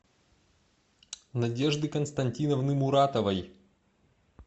надежды константиновны муратовой